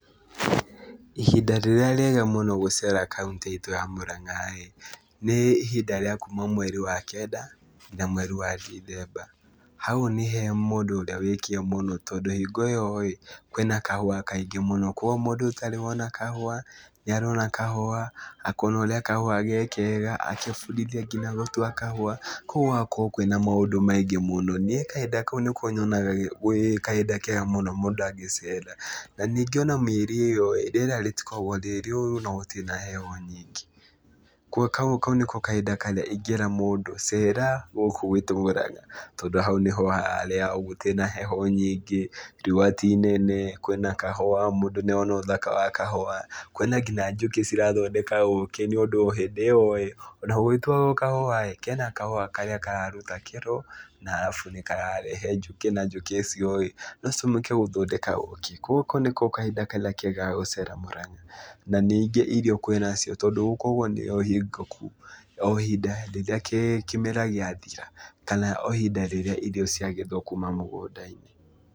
Ihinda rĩrĩa rĩega mũno gũcera kauntĩ itũ ya Mũranga-ĩ, nĩ ihinda rĩa kuma mweri wa kenda na mweri wa ndithemba. Hau nĩ he mũndũ ũrĩa wĩ kĩo mũno tondũ hingo ĩyo-ĩ, kwĩna kahũa kaingĩ mũno. Kuoguo mũndũ ũtarĩ wona kahũa nĩarona kahũa, akona ũrĩa kahũa ge kega, agebundithia kinya gũtua kahũa kũu gũgakorwo kwĩna maũndũ maingĩ mũno. Niĩ kahinda kau nĩko nyonaga kwĩ kahinda kega mũno mũndũ angĩcera. Na, ningĩ ona mĩeri ĩyo rĩera rĩtikoragwo rĩ rĩũru na gũtirĩ na heho nyingĩ, kuoguo kau nĩko kahinda karĩa ingĩra mũndũ cera gũkũ gwitũ Mũranga tondũ hau nĩho harĩa gũtiri na heho nyingĩ, riũa ti inene, kwĩna kahũa, mũndũ nĩarona ũthaka wa kahũa, kwĩna nginya njũkĩ cirathondeka ũkĩ nĩũndũ hĩndĩ ĩyo-ĩ, ona gũgĩtuagwo kahũa-ĩ, kena kahũa karĩa kararuta kĩro na arabu nĩkararehe njũkĩ na njũkĩ icio-ĩ, no citũmĩke gũthondeka ũkĩ. Kuoguo kau nĩko kahinda karĩa kega ga gũcera Mũranga, na ningĩ irio kwĩnacio tondũ gũkoragwo nĩyo hingo o ihinda rĩrĩa kĩmera gĩathira kana o ihinda rĩrĩa irio ciagethwo kuma mũgũnda-inĩ.